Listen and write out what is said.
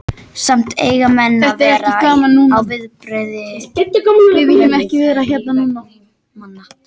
Samt eiga menn að vera á varðbergi, verði þær á vegi manna.